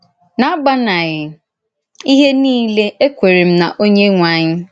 N’agbànàghị íhè niile, èkwèrè m n’Onyenwè ànyị.